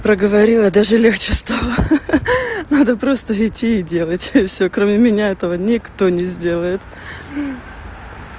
проговорила даже легче стало ха ха надо просто идти и делать всё кроме меня этого никто не сделает